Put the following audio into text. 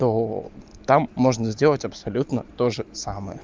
то там можно сделать абсолютно тоже самое